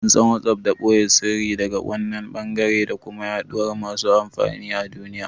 An san WhatsApp da ɓoye siriri daga kowanne ɓangare da kuma yaɗuwar masu amfani a duniya.